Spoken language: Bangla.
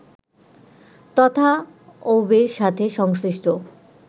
তথা অউবের সাথে সংশ্লিষ্ট